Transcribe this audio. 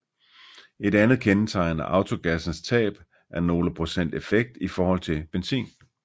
Et andet kendetegn er autogassens tab af nogle procent effekt i forhold til benzin